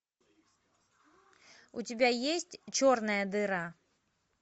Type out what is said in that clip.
у тебя есть черная дыра